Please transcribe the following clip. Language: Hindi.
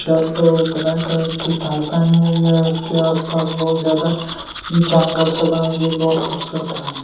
शल्‍ट और ब्‍लैक कलर की पेंट पहनी हुई है उसके आस-पास बहुत जादा जंगल सा बना हुआ है जो बहुत खूबसूरत लग रहा है।